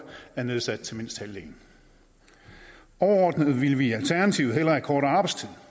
er nedsat til mindst halvdelen overordnet ville vi i alternativet hellere have kortere arbejdstid